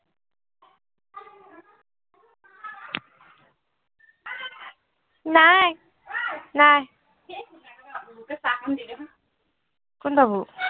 নাই অই নাই বাবু আহিছে চাহ কন দি দে চোন কোন বাবু